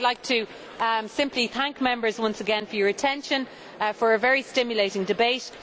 I would like to simply thank Members once again for your attention and for a very stimulating debate.